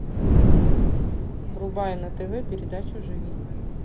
врубай на тв передачу живи